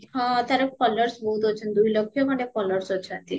ହଁ ତାର ତାର followers ବହୁତ ଅଛନ୍ତି ଦୁଇ ଲକ୍ଷେ ଖଣ୍ଡେ followers ଅଛନ୍ତି